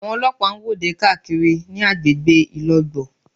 Àwọn ọlọ́pàá ń wọ́de káàkiri ní agbègbè Ìlogbò